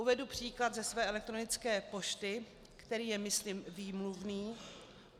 Uvedu příklad ze své elektronické pošty, který je myslím výmluvný.